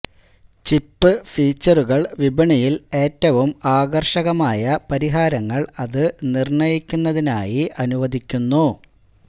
chip ഫീച്ചറുകൾ വിപണിയിൽ ഏറ്റവും ആകർഷകമായ പരിഹാരങ്ങൾ അത് നിർണയിക്കുന്നതിനായി അനുവദിക്കുന്നു